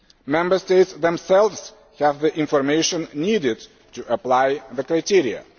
Member States themselves have the information needed to apply the criteria.